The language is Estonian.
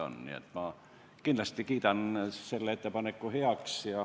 Nii et ma kindlasti kiidan selle ettepaneku heaks.